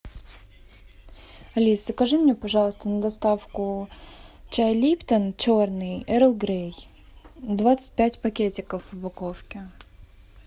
алиса закажи мне пожалуйста на доставку чай липтон черный эрл грей двадцать пять пакетиков в упаковке